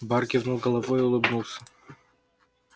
бар кивнул головой и улыбнулся